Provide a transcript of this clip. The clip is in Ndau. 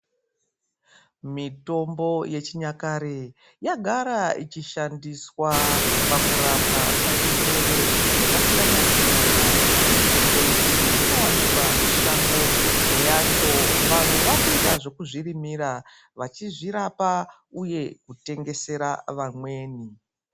Mitombo yechinyakare yagara ichishandiswa pakurapwa kwezvirwere zvakasiyana siyana mitombo iyi inowanikwa mushango imwe yacho, vanwe vakuita zvekuzvirimira vachizvirapa uye kutengesera vamweni.